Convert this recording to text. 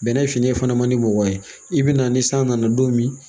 Bɛnɛ fini fana ma di mɔgɔ ye i bɛna ni san nana don min